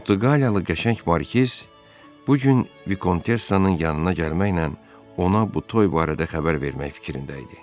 Portuqaliyalı qəşəng Markiz bu gün Vikontessanın yanına gəlməklə ona bu toy barədə xəbər vermək fikrində idi.